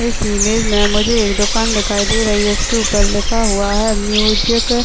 इस इमेज मैं मुझे एक दुकान दिखाई दे रही है उसके ऊपर लिखा हुआ है म्यूज़िक --